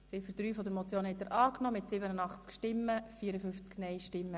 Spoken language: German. Sie haben Ziffer 3 angenommen.